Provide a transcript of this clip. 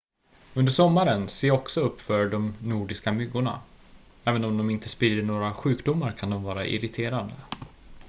under sommaren se också upp för de nordiska myggorna även om de inte sprider några sjukdomar kan de vara irriterande